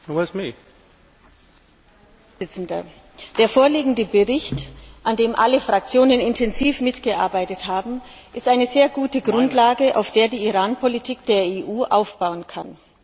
Herr Präsident! Der vorliegende Bericht, an dem alle Fraktionen intensiv mitgearbeitet haben, ist eine sehr gute Grundlage, auf der die Iran Politik der EU aufbauen kann.